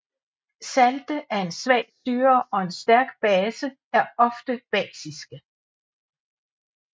Salte af en svag syre og en stærk base er ofte basiske